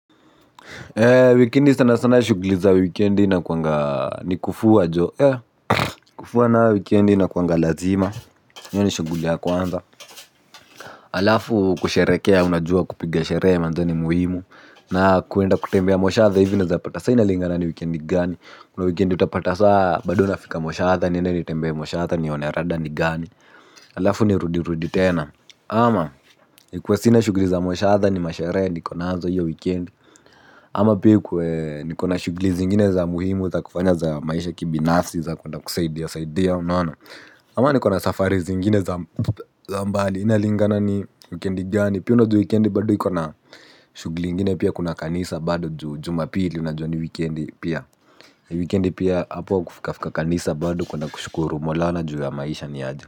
Wikendi sana sana shugli za wikendi nakuanga ni kufua jo e kufua nayo wikendi inakuanga lazima hiyo ni shuguli ya kwanza. Halafu kusherekea unajua kupiga sherehe manze ni muhimu. Na kuenda kutembea moshadha hivi unaeza pata sa inalingana ni wikendi gani. Kuna wikendi utapata sa bado nafika moshadha niende nitembee moshadha nione rada ni gani. Alafu nirudirudi tena. Ama ikuwe sina shugli za moshadha ni masherehe niko nazo hiyo wikendi. Ama pia ikuwe niko na shugli zingine za muhimu za kufanya za maisha kibinafsi za kuenda kusaidia saidia unaona. Ama niko na safari zingine za mbali inalingana ni wikendi gani. Penda ju weekendi bado iko na shugli ingine pia kuna kanisa bado juu juma pili unajua ni weekendi pia. Weekendi pia hapo kufika fika kanisa bado kuenda kushukuru maulana juu ya maisha niaje.